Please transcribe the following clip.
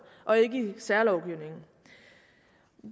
og ikke i særlovgivningen